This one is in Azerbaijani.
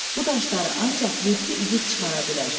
Bu daşları ancaq yeddi igid çıxara bilər.